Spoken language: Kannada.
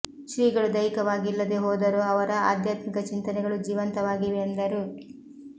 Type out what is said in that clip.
ಶ್ರೀಗಳು ದೈಹಿಕವಾಗಿ ಇಲ್ಲದೆ ಹೋದರೂ ಅವರ ಆಧ್ಯಾತ್ಮಿಕ ಚಿಂತನೆಗಳು ಜೀವಂತವಾಗಿವೆ ಎಂದರು